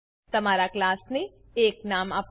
તમારા ક્લાસને એક નામ આપો